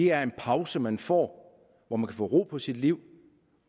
er en pause man får hvor man kan få ro på sit liv